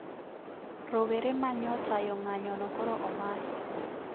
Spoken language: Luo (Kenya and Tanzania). Rowere ma nyo tayo ng`anyo no koro omaki